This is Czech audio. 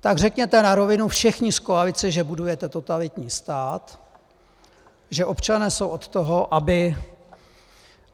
Tak řekněte na rovinu všichni z koalice, že budujete totalitní stát, že občané jsou od toho,